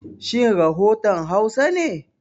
Shin rafotan Hausa ne?